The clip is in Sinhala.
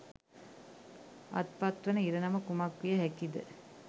අත්පත්වන ඉරණම කුමක් විය හැකිද?